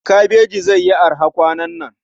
Kabaji zai yi araha kwanan nan.